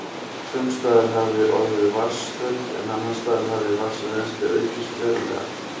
Sums staðar hafði orðið vatnsþurrð, en annars staðar hafði vatnsrennslið aukist verulega.